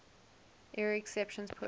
error exceptions pushed